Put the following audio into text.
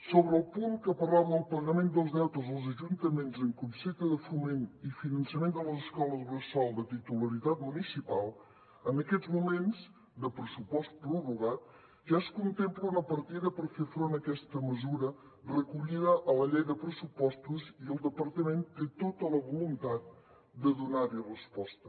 sobre el punt que parlava del pagament dels deutes als ajuntaments en concepte de foment i finançament de les escoles bressol de titularitat municipal en aquests moments de pressupost prorrogat ja es contempla una partida per fer front a aquesta mesura recollida a la llei de pressupostos i el departament té tota la voluntat de donar hi resposta